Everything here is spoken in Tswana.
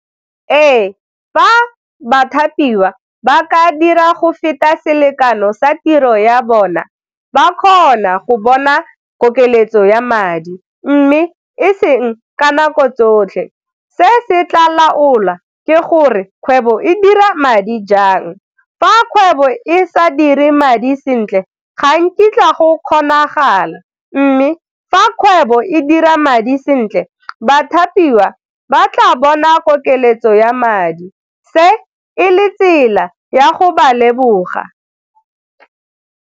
Ee fa bathapiwa ba ka dira go feta selekano sa tiro ya bona ba kgona go bona gore keletso ya madi, mme e seng ka nako tsotlhe, se se tla laola ke gore kgwebo e dira madi jang, fa kgwebo e sa dire madi sentle ga nkitla go kgonagala, mme fa kgwebo e dira madi sentle bathapiwa ba tla bona kokeletso ya madi, se e le tsela ya go ba leboga.